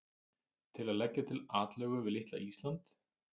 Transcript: Til að leggja til atlögu við litla Ísland?